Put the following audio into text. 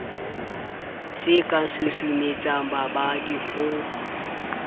se ka susumetsang babadi ho